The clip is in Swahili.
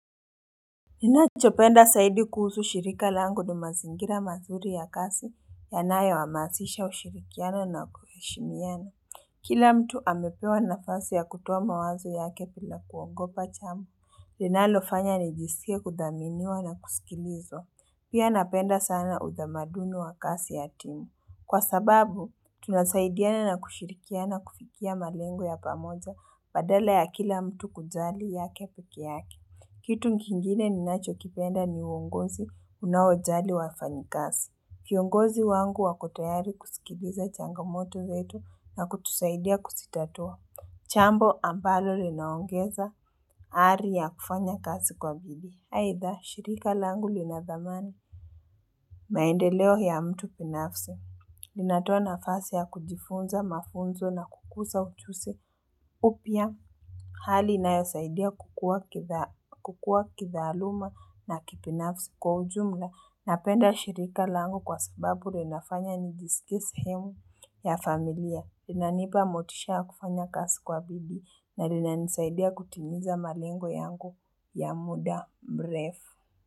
Ninachopenda saidi kuhusu shirika langu ni mazingira mazuri ya kasi ya nayo ha maasisha ushirikiano na kuheshimiana. Kila mtu amepewa nafasi ya kutoa mawazo yake pila kuogopa chamo. Ninalo fanya ni jisikie kudhaminiwa na kusikilizwa. Pia napenda sana udhamaduni wa kasi ya timu. Kwa sababu, tunasaidiana na kushirikiana kufikia malengo ya pamoja badala ya kila mtu kujali ya kepeke yake. Kitu nkingine ni nacho kipenda ni uongozi unaojali wafanyikasi. Kiongozi wangu akotayari kusikiliza changamoto yetu na kutusaidia kusitatua. Chambo ambalo linaongeza ari ya kufanya kasi kwa bidii. Aidha, shirika langu linadhamani. Maendeleo ya mtu binafsi. Linatoa na fasi ya kujifunza mafunzo na kukusa uchusi upya. Hali inayosaidia kukua kithaaluma na kipinafsi kwa ujumla na penda shirika langu kwa sababu rinafanya nijisikie sehemu ya familia. Lina nipa motisha kufanya kasi kwa bidii na lina nisaidia kutimiza malengo yangu ya muda mrefu.